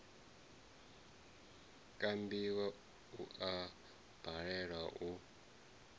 kambiwa u a balelwa u